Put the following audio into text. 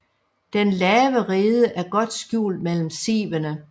Den lave rede er godt skjult mellem sivene